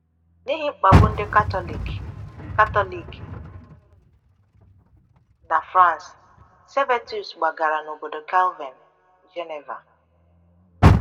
N’ihi mkpagbu ndị Katọlik Katọlik na France, Servetus gbagara n’obodo Calvin, Geneva.